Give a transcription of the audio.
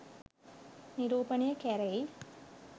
නිරූපණය කැරෙයි.